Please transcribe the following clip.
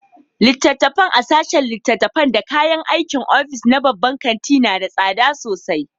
Littattafai a sashen littattafai da kayan aikin ofis na babban kanti na da tsada sosai.